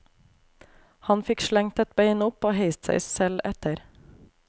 Han fikk slengt ett bein opp og heist seg selv etter.